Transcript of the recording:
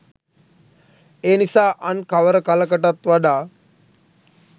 එනිසා අන් කවර කලකටත් වඩා